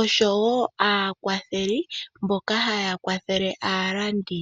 oshowo aakwatheli mboka haya kwathele aalandi.